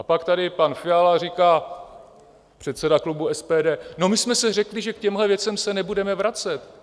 A pak tady pan Fiala říká, předseda klubu SPD: No my jsme si řekli, že k těmhle věcem se nebudeme vracet.